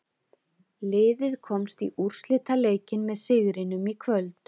Liðið komst í úrslitaleikinn með sigrinum í kvöld.